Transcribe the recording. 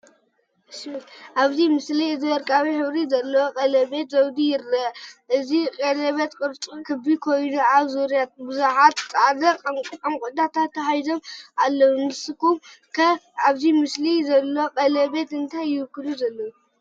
ኣብዚ ምስሊ እዚ ወርቃዊ ሕብሪ ዘለዎ ቀለቤት ዘውዲ ይርአ። እቲ ቀለቤት ቅርጹ ክቢ ኮይኑ ኣብ ዙርያኡ ብዙሓት ጻዕዳ ዕንቊታት ተተሓሒዞም ኣለዉ። ንስኩም ከ ኣብዚ ምስሊ ዘሎ ቀለቤት እንታይ ዝውክል ይመስለኩም?